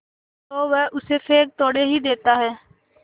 तो वह उसे फेंक थोड़े ही देता है